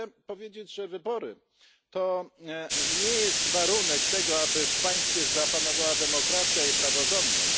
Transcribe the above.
Chcę jednak powiedzieć, że wybory to nie jedyny warunek tego, aby w państwie zapanowała demokracja i praworządność.